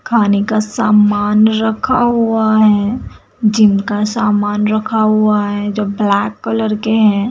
खाने का सामान रखा हुआ है जिनका सामान रखा हुआ है जो ब्लैक कलर के हैं।